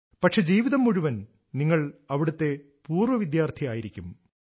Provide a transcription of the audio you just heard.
പക്ഷെ ജീവിതം മുഴുവനും നിങ്ങൾ അവിടത്തെ പൂർവ വിദ്യാർഥി ആയിരിക്കും